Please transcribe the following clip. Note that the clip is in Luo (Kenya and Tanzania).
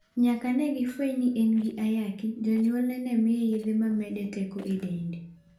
Nyaka ne gifweny ni en gi ayaki, jonyuolne ne miye yedhe ma mede teko e dende.